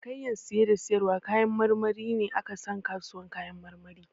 Cinikayyan saye da sayarwar kayan marmari ne a ka san kasuwar kayan marmari.